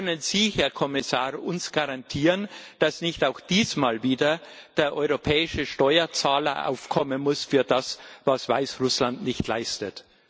Können Sie, Herr Kommissar, uns garantieren, dass nicht auch diesmal wieder der europäische Steuerzahler aufkommen muss für das, was Weißrussland nicht leistet?